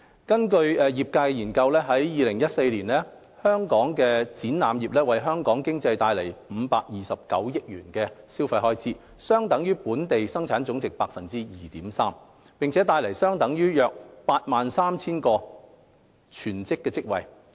根據業界研究，在2014年，香港展覽業為香港經濟帶來529億元消費開支，相等於本地生產總值 2.3% 及約 83,000 個全職職位。